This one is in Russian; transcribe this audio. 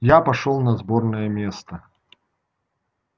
я пошёл на сборное место